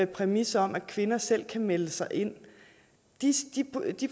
præmis om at kvinder selv kan melde sig ind de